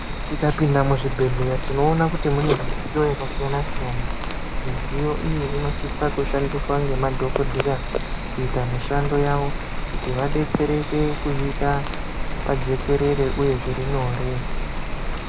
Tikapinda muzvibhehlera tinoona kuti mune midziyo yakasiyanasiyana midziyo iyi inosisa kushandiswa ngemadhokodheya kuita mishando yawo kuti vadetsereke kuyita pajekerere uye zvirinyore.